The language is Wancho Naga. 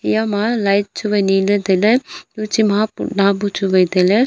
eyama light chuwai nila tailey chiha putla bu chu wai tailey.